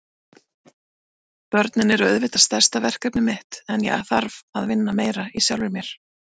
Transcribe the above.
Börnin eru auðvitað stærsta verkefnið mitt en ég þarf að vinna meira í sjálfri mér.